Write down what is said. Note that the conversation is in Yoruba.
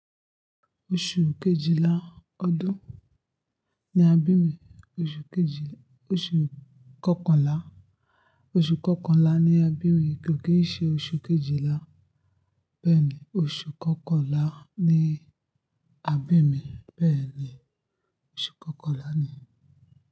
Oṣù kejìlá ọdún ni a bí mi. Oṣù kejì, oṣù kọkànlá, oṣù kọkànlá ni a bí mi. Kò kì n ṣe oṣù kejìlá. Bẹ́ẹ̀ ni, oṣù kọkànlá ni a bí mi. Bẹ́ẹ̀ ni, oṣù kọkànlá ni.